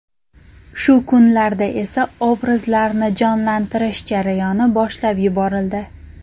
Shu kunlarda esa obrazlarni jonlantirish jarayoni boshlab yuborildi.